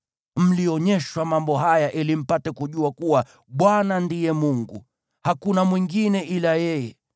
Mlionyeshwa mambo haya ili mpate kujua kuwa Bwana ndiye Mungu; hakuna mwingine ila yeye.